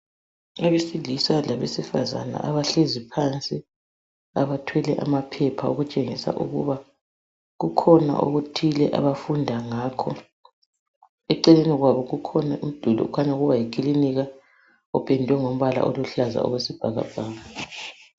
Abesilisa labasifazana abahlezi phansi abathwele amaphepha okutshengisa ukuthi kukhona okuthile abafunda ngakho. Eceleni kwabo kukhona umduli kukhanya ukuba yikilinika opendwe ombala oluhlaza okwesibhakabhaka.